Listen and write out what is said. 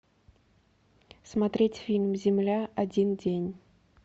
смотреть фильм земля один день